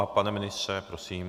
A pane ministře, prosím.